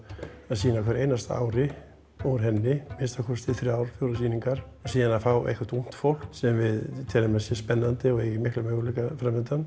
að sýna á hverju einasta ári úr henni að minnsta kosti þrjár eða fjórar sýningar síðan að fá eitthvað ungt fólk sem við teljum að sé spennandi og eigi mikla möguleika